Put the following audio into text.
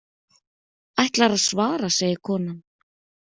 Ætlarðu að svara, segir konan.